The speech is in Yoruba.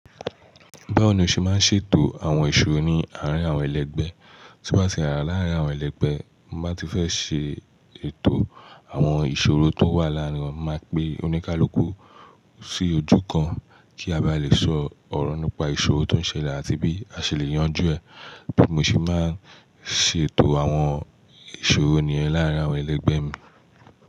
Báwo ni o ṣe máa ń ṣètò àwọn ìṣòro ní àárín àwọn ẹlẹgbẹ́? Tí n bá ti rà láàárín àwọn ẹlẹgbẹ́, ti n ba ti fẹ́ ṣe ètò àwọn ìṣòro tó wà láàárín wa. Máa pe oníkálukú sí ojú kan kí a bá lè sọ ọ̀rọ̀ nípa ìṣòro tó ń ṣẹlẹ̀ àti bí a ṣe lè yanjú ẹ̀. Bi mo ṣe máa ń ṣètò àwọn ìṣòro niyen láàárín àwọn ẹlẹgbẹ́ mi.